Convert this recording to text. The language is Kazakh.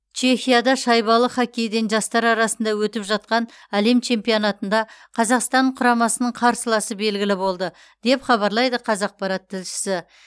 чехияда шайбалы хоккейден жастар арасында өтіп жатқан әлем чемпионатында қазақстан құрамасының қарсыласы белгілі болды деп хабарлайды қазақпарат тілшісі